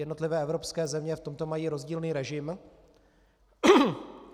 Jednotlivé evropské země v tomto mají rozdílný režim.